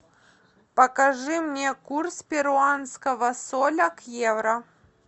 покажи мне курс перуанского соля к евро